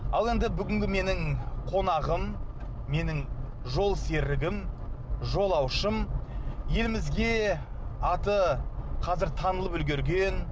ал енді бүгінгі менің қонағым менің жолсерігім жолаушым елімізге аты қазір танылып үлгерген